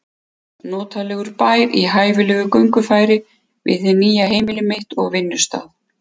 Notalegur bær í hæfilegu göngufæri við hið nýja heimili mitt og vinnustað.